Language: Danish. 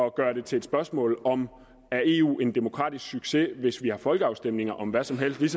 at gøre det til et spørgsmål om at eu er en demokratisk succes hvis vi har folkeafstemninger om hvad som helst lige